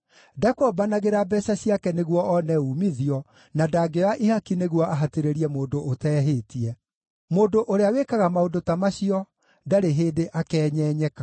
ndakombanagĩra mbeeca ciake nĩguo one uumithio, na ndangĩoya ihaki nĩguo ahatĩrĩrie mũndũ ũteehĩtie. Mũndũ ũrĩa wĩkaga maũndũ ta macio ndarĩ hĩndĩ akeenyenyeka.